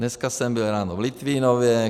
Dneska jsem byl ráno v Litvínově.